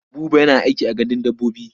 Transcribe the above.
Buba yana aiki a gandun dabbobi.